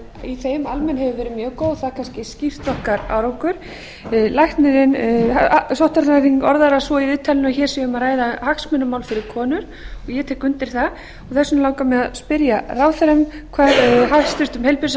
í þeim hefur verið mjög góð og það kannski skýrt okkar árangur sóttvarnalæknirinn orðar það svo í viðtalinu að hér sé um að ræða hagsmunamál fyrir konur og ég tek undir það og þess vegna langar mig að spyrja ráðherrann hvað hæstvirtur heilbrigðisráðherra